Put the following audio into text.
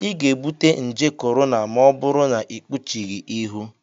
ị ga-ebute nje korona ma ọ bụrụ na ịkpuchighị ihu